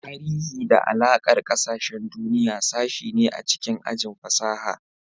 Tarihi da Alakar Ƙasashen Duniya sashe ne a cikin ajin fasaha.